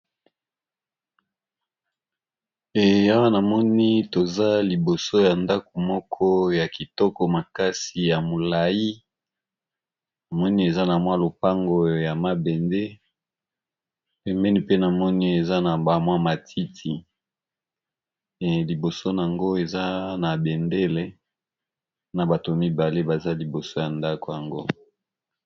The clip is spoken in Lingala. A wana moni toza liboso ya ndako moko ya kitoko makasi ya molai amoni eza na mwa lopango ya mabende emeni pe na moni eza na bamwa matiti liboson yango eza na bendele na bato mibale baza liboso ya ndako yango